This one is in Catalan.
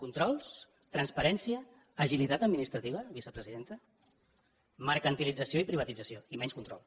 controls transparència agilitat administrativa vicepresidenta mercantilització i privatització i menys control